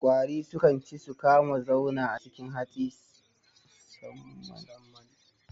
Ƙwari sukan ci su kuma zauna a cikin hatsi susamman ma wake